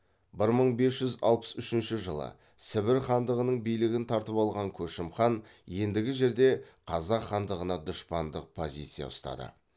бір мың бес жүз алпыс үшінші жылы сібір хандығының билігін тартып алған көшім хан ендігі жерде қазақ хандығына дұшпандық позиция ұстады